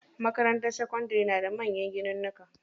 Makarantar sakandari na da manyan ginunnuka.